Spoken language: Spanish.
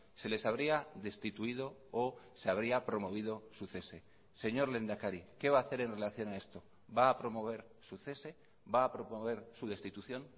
se les habría destituido o se habría promovido su cese señor lehendakari qué va a hacer en relación a esto va a promover su cese va a promover su destitución